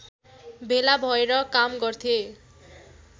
भेला भएर काम गर्थे